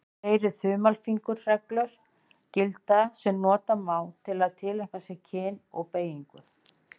Fleiri þumalfingursreglur gilda sem nota má til að tileinka sér kyn og beygingu.